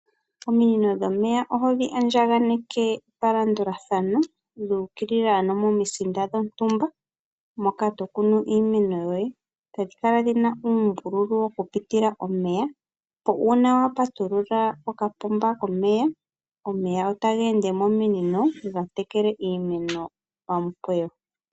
Ominino dhomeya oho dhi andjakaneke palandulathano, dhu ukilila ano momisinda dhontumba moka to kunu iimeno yoye, tadhi kala dhina uumbululu wokupitila omeya. Opo uuna wa patulula kokapomba komeya, omeya otaga ende mominino tadhi tekele iimeno momikweyo.